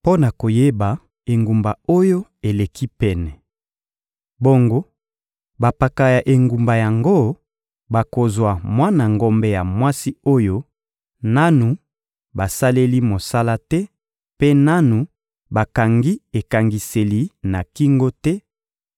mpo na koyeba engumba oyo eleki pene. Bongo bampaka ya engumba yango bakozwa mwana ngombe ya mwasi oyo nanu basaleli mosala te mpe nanu bakangi ekangiseli na kingo te;